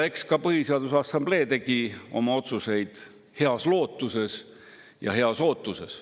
Eks ka Põhiseaduse Assamblee tegi oma otsuseid heas lootuses ja heas ootuses.